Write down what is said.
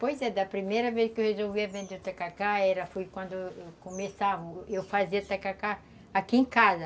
Pois é, da primeira vez que eu resolvi vender o tacacá, era, foi quando eu começava a fazer, eu fazia o tacacá aqui em casa.